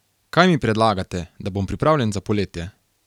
Kaj mi predlagate, da bom pripravljen za poletje?